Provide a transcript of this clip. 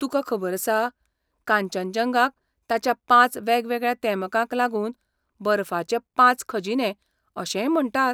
तुकां खबर आसा, कांचनजंगाक ताच्या पांच वेगवेगळ्या तेमकांक लागून 'बर्फाचे पांच खजिने' अशेंय म्हणटात?